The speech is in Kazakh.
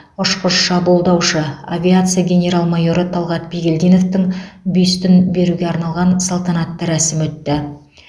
ұшқыш шабуылдаушы авиация генерал майоры талғат бигелдиновтің бюстін беруге арналған салтанатты рәсім өтті